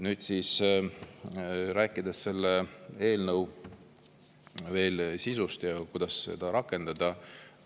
Nüüd räägin selle eelnõu sisust ja kuidas seda rakendada.